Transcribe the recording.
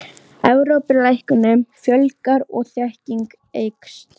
Evrópu, læknum fjölgar og þekking eykst.